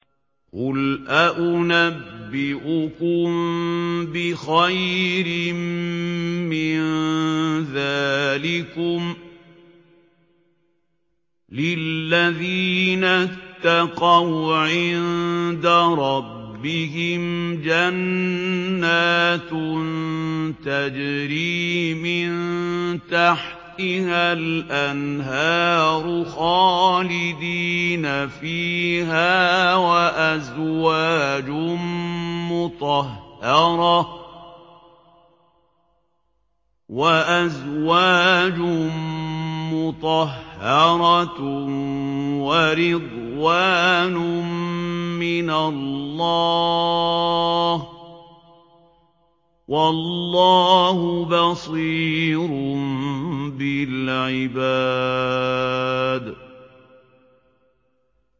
۞ قُلْ أَؤُنَبِّئُكُم بِخَيْرٍ مِّن ذَٰلِكُمْ ۚ لِلَّذِينَ اتَّقَوْا عِندَ رَبِّهِمْ جَنَّاتٌ تَجْرِي مِن تَحْتِهَا الْأَنْهَارُ خَالِدِينَ فِيهَا وَأَزْوَاجٌ مُّطَهَّرَةٌ وَرِضْوَانٌ مِّنَ اللَّهِ ۗ وَاللَّهُ بَصِيرٌ بِالْعِبَادِ